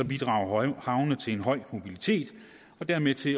bidrager havnene til en høj mobilitet og dermed til